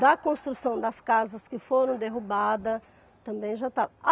Da construção das casas que foram derrubadas, também já estava.